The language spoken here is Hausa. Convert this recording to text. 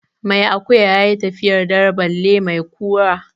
Mai akuya ya yi tafiyar dare balle mai kura.